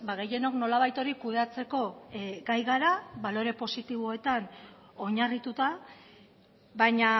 gehienok nolabait hori kudeatzeko gai gara balore positiboetan oinarrituta baina